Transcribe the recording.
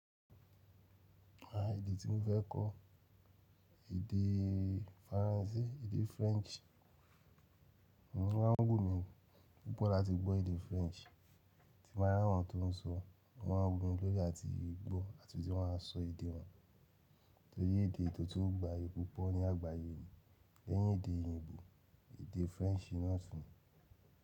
À, èdè tí mo fẹ́ kọ, èdè Faransé, èdè French. Ó wù mí púpò láti gbọ́ èdè french tí mo bá rí àwọn tó ń sọ ó máa ń wù mí lórí àti gbọ́ àti má sọ èdè wọn torí èdè tó tún gbayì púpọ̀ ní àgbáyé, lẹ́yìn èdè òyìnbó, èdè French ni náà tún ni.